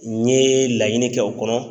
N ye laɲini kɛ o kɔnɔ.